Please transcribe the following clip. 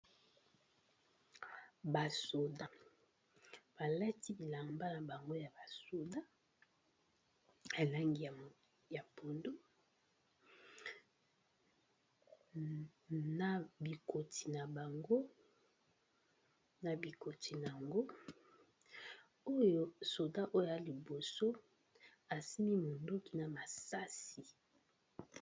Ba soda balati bilamba na bango ya ba soda ya langi ya pondu na bikoti na bango oyo soda oyo a liboso asimbi monduki na masasi.